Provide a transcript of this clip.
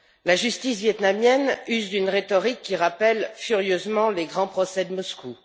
La justice vietnamienne use d'une rhétorique qui rappelle furieusement les grands procès de Moscou.